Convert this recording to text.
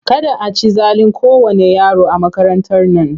Kada a ci zalin kowanne yaro a makarantar nan!